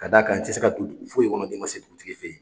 Ka d'a kan, i te se ka don dugu foyi kɔnɔ n'i ma se dugutigi fe yen.